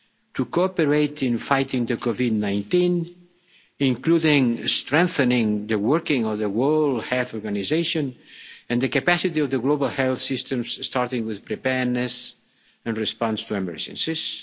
to cooperate in fighting COVID 19, including strengthening the workings of the World Health Organization and the capacity of the global health systems, starting with preparedness and response to emergencies